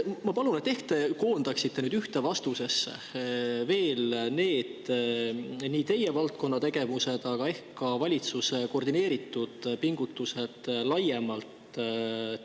Ma palun, et te koondaksite ühte vastusesse need teie valdkonna tegevused, aga ehk ka valitsuse koordineeritud pingutused laiemalt.